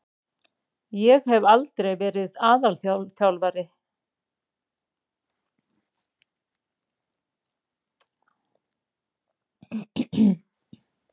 Ég hef aldrei verið aðalþjálfari.